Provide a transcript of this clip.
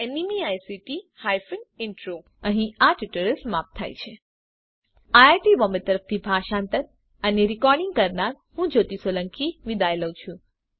iit Bombay તરફથી spoken tutorial project માટે ભાષાંતર કરનાર હું જ્યોતી સોલંકી વિદાય લઉં છું